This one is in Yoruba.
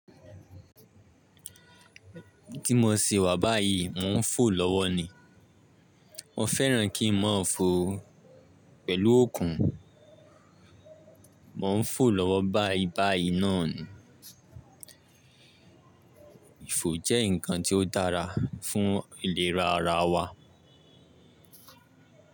Ti mo se wà báyìí, mo ń fò lọ́wọ́ ni. Mo fẹ́ràn kí n máa fò pẹ̀lú okùn. Mo ń fò lọ́wọ́ báyìí báyìí náà ni. Ìfò jẹ́ nǹkan tí ó dára fún ìlera ara wa.